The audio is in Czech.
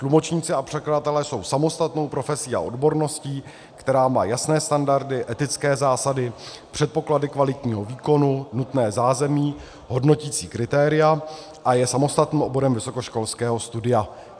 Tlumočníci a překladatelé jsou samostatnou profesí a odborností, která má jasné standardy, etické zásady, předpoklady kvalitního výkonu, nutné zázemí, hodnoticí kritéria a je samostatným oborem vysokoškolského studia.